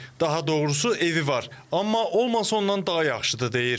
Daha doğrusu evi var, amma olmasa ondan daha yaxşıdır deyir.